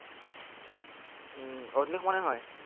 উম অথনিৰ সমানেই হয়।